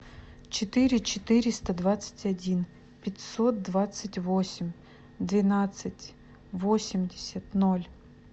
четыре четыреста двадцать один пятьсот двадцать восемь двенадцать восемьдесят ноль